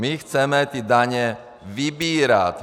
My chceme ty daně vybírat.